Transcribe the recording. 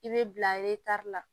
I bɛ bila la